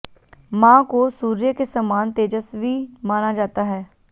मां को सूर्य के समान तेजस्वी माना जाता है